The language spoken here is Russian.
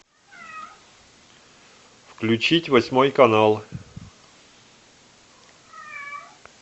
включить восьмой канал